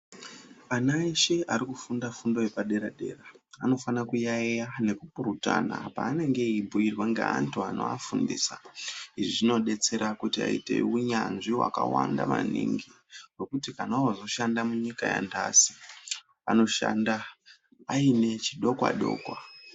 Ana eshe arikufunda fundo yepadera-dera anofane kuyayeya nekupurutana paanenge eibhuyirwa ngeantu anoafundisa izvi zvinodetsera kuti vaite unyanzvi hwakawanda maningi zvokuti kana vaakuzoshanda munyika yanhasi vanoshanda vaine chidokwa-dokwa.